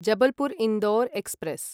Jabalpur Indore express